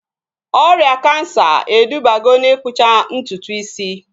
Ọrịa kansa edubago na-ikpụcha ntutu isi